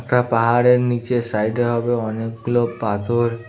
একটা পাহাড়ের নীচের সাইড -এ হবে অনেকগুলো পাথর--